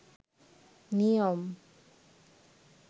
নিয়ম